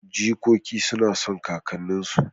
Jikoki suna son kakanninsu